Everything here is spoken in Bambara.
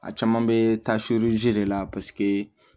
A caman bɛ taa de la paseke